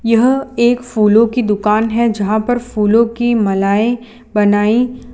यह एक फूलों की दुकान है जहां पर फूलों की मालाएं बनाई --